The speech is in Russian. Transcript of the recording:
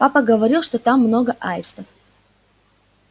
папа говорил что там много аистов